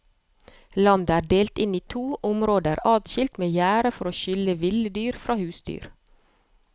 Landet er delt inn i to områder adskilt med gjerde for å skille ville dyr fra husdyr.